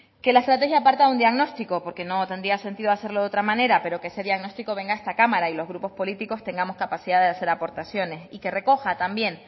que la estrategia parta de un diagnóstico porque no tendría sentido hacerlo de otra manera pero ese diagnóstico venga a esta cámara y los grupos políticos tengamos capacidad de hacer aportaciones y que recoja también